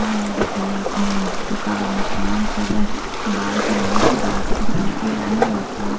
नाई बेचारा अपने दुकान में काम कर रहा है बाल बना रहा है बाल बनवाने के लिए आये है लड़के लोग --